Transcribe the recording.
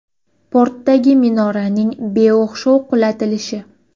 Portdagi minoraning beo‘xshov qulatilishi.